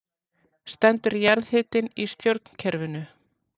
Stendur jarðhitinn í stjórnkerfinu